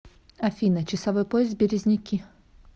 афина часовой пояс березники